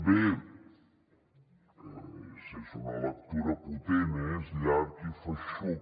bé és una lectura potent eh és llarg i feixuc